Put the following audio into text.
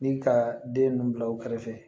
Ni ka den ninnu bila u kɛrɛfɛ